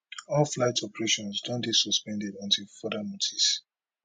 all flight operations don dey suspended until further notice